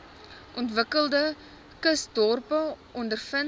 ontwikkelende kusdorpe ondervind